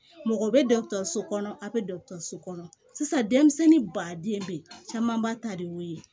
Mɔgɔ bɛ dɔkɔtɔrɔso kɔnɔ a bɛ so kɔnɔ sisan denmisɛnnin baden bɛ ye caman ba ta de y'o ye